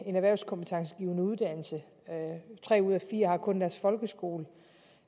en erhvervskompetencegivende uddannelse at tre ud af fire kun har deres folkeskoleuddannelse